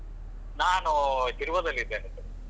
ನಾನು ಶಿರ್ವದಲ್ಲಿದ್ದೇನೆ.